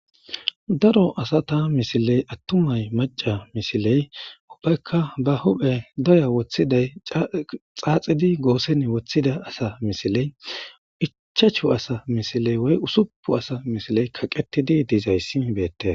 Daro asata misiley attumay maca misiley ubbaykka ba huphe doya woththiday xaaxidi goosen woththida asa misiley icchachu asa misiley woy usupu asa misiley kaqqetidi diizayssi beetees.